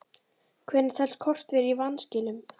Hvenær telst kort vera í vanskilum?